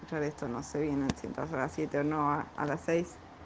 собирайся на современный центр раз её но она стоит